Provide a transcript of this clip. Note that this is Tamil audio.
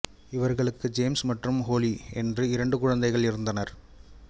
இவர்களுக்கு ஜேம்ஸ் மற்றும் ஹோலி என்ற இரண்டு குழந்தைகள் இருந்தனர்